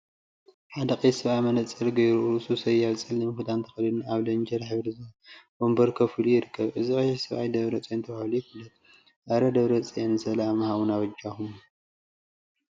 ሓደ ቀይሕ ሰብአይ መነፀር ገይሩ፤ ርእሱ ሰያብ ፀሊም ክዳን ተከዲኑ አብ ሌንጀር ሕብሪ ወንበር ኮፍ ኢሉ ይርከብ፡፡ እዚ ቀይሕ ሰብአይ ደብረፅዮን ተባሂሉ ይፍለጥ፡፡ አረ! ደብረፅዮን ሰላም ሃቡና በጃኩም፡፡